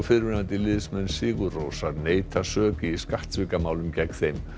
fyrrverandi liðsmenn sigur Rósar neita sök í skattsvikamálum gegn þeim